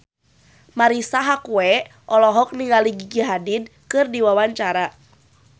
Marisa Haque olohok ningali Gigi Hadid keur diwawancara